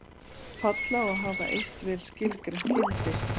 Fall á að hafa eitt vel skilgreint gildi.